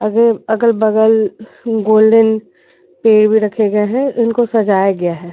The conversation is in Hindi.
अगल-बगल गोल्डन पेड़ भी रखे गए है इनको सजाया गया है।